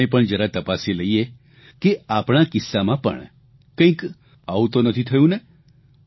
આપણે પણ જરા તપાસી લઇએ કે આપણા કિસ્સામાં પણ કંઇક આવું તો નથી થયું ને